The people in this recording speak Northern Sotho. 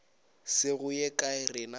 se go ye kae rena